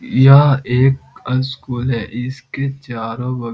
यह एक अ स्कूल है इसके चारों बगल --